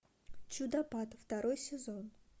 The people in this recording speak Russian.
чудопад второй сезон